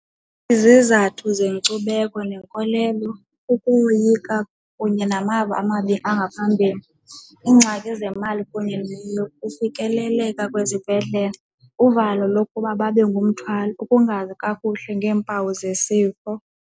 Izizathu zenkcubeko nenkolelo ukoyika kunye namava amabi angaphambili. Iingxaki zemali kunye neyokufikeleleka kwezibhedlele. Uvalo lokuba babe ngumthwalo, ukungazi kakuhle ngeempawu zesifo.